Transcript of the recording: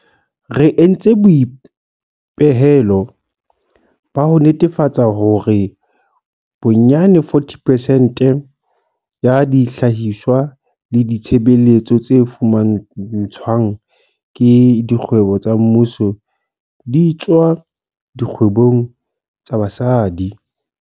Re entse boipehelo ba ho netefatsa hore bonyane 40 percent ya dihlahiswa le ditshebeletso tse fumantshwang ke dikgwebo tsa mmuso di tswa dikgwebong tsa basadi.